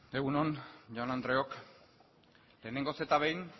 egun on jaun andreok lehenengoz eta behin